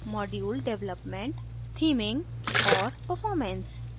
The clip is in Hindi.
module development theming और performance